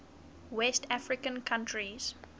west african countries